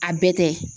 A bɛɛ tɛ